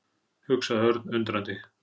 hugsaði Örn undrandi.